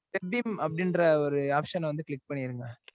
kept in அப்டீன்ற ஒரு option அ வந்து click பன்னீருங்க.